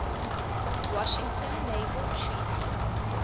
washington naval treaty